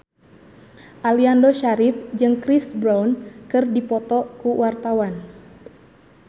Aliando Syarif jeung Chris Brown keur dipoto ku wartawan